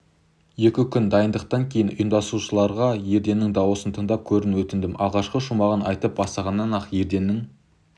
екі күн дайындықтан кейін ұйымдастырушыларға ерденнің дауысын тыңдап көруін өтіндім алғашқы шумағын айтып бастағаннан-ақ ерденнің